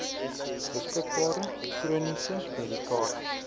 beskikbare chroniese medikasie